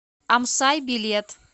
амсай билет